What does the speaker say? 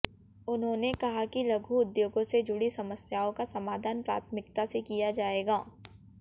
उन्होंने कहा कि लघु उद्योगो से जुड़ी समस्याओं का समाधान प्राथमिकता से किया जायेगा